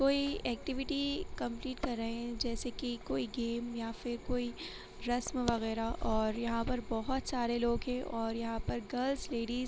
कोई activity complete कर रहे है जैसे कि कोई गेम या फिर कोई रश्‍म बगैरह और यहां पर बहुत सारे लोग है और यहां पर गर्ल्‍स लेडीज --